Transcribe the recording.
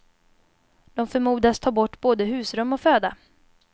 De förmodas ta bort både husrum och föda.